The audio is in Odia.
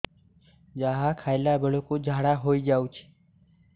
ଯାହା ଖାଇଲା ବେଳକୁ ଝାଡ଼ା ହୋଇ ଯାଉଛି